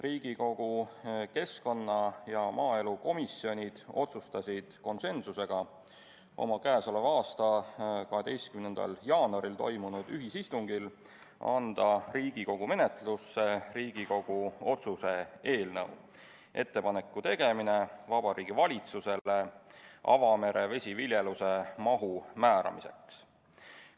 Riigikogu keskkonnakomisjon ja maaelukomisjon otsustasid konsensusega oma k.a 12. jaanuaril toimunud ühisistungil anda Riigikogu menetlusse Riigikogu otsus "Ettepaneku tegemine Vabariigi Valitsusele avamere vesiviljeluse mahu määramiseks".